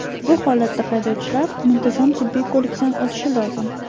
Bu holatda haydovchilar muntazam tibbiy ko‘rikdan o‘tishi lozim.